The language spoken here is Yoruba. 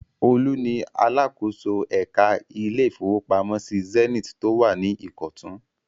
Olú ni alákòóso ẹ̀ka ilé-ìfowópamọ́sí Zenith tó wà ní Ìkọ̀tún.